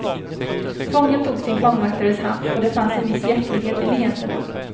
Fången tog sin fångvaktares hand, och det fanns en viss hjärtlighet i leendena.